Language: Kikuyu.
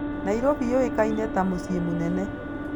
Nairobi yũĩkaine ta mũciĩ mũnene.